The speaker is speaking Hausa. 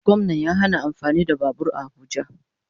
Gwamnan ya hana amfani da babur a abuja